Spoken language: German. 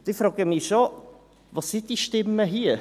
Und ich frage mich schon, wo sind diese Stimmen hier?